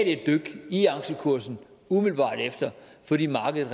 et dyk i aktiekursen umiddelbart efter fordi markedet